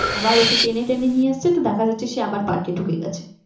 আবার ওকে টেনে টেনে নিয়ে আসছে তো দেখা যাচ্ছে সে আবার পার্কে ঢুকে গেছে